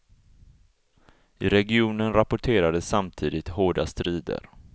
I regionen rapporterades samtidigt hårda strider.